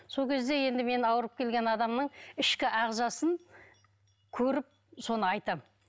сол кезде енді мен ауырып келген адамның ішкі ағзасын көріп соны айтамын